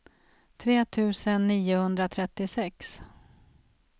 tre tusen niohundratrettiosex